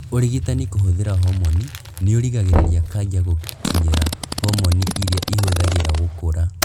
ũrigitani kũhũthĩra homoni nĩurigagĩrĩria kanja gũkinyũĩra homoni irĩa ĩhũthagĩra gũkũra